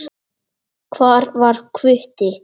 Hvar var Hvutti?